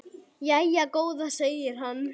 Jæja góða, segir hann.